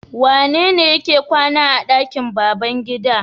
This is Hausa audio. Wanene yake kwana a ɗakin babban gida?